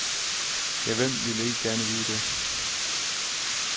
Ja, hvem vil ikke gerne vide det.